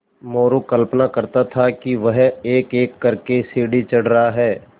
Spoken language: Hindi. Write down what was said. मोरू कल्पना करता कि वह एकएक कर के सीढ़ी चढ़ रहा है